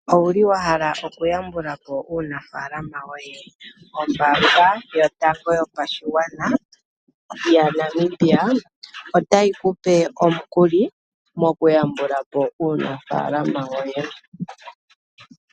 Owuli wahala okuya mbulapo uunafalama yoye ombanga yotango yopashigwana yaNamibia otayi kupe omukuli mokuyambulapo uunafalama woye.